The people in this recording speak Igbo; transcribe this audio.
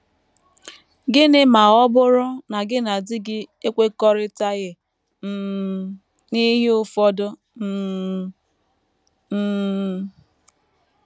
Gịnị ma ọ bụrụ na gị na di gị ekwekọrịtaghị um n’ihe ụfọdụ um? um